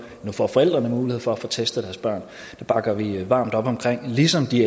nu får forældrene mulighed for at få testet deres børn det bakker vi varmt op om ligesom vi